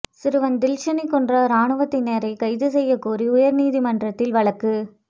சிறுவன் தில்ஷனைக் கொன்ற ராணுவத்தினரைக் கைது செய்யக் கோரி உயர்நீதிமன்றத்தில் வழக்கு